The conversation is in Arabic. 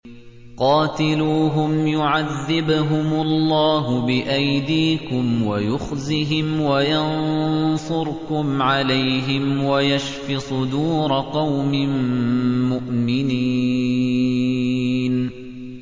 قَاتِلُوهُمْ يُعَذِّبْهُمُ اللَّهُ بِأَيْدِيكُمْ وَيُخْزِهِمْ وَيَنصُرْكُمْ عَلَيْهِمْ وَيَشْفِ صُدُورَ قَوْمٍ مُّؤْمِنِينَ